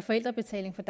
forældrebetaling på